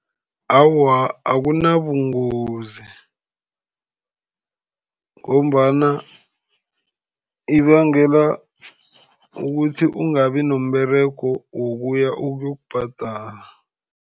Awa, akunabungozi ngombana ibangela ukuthi ungabi nomberego wokuya ukuyokubhadala.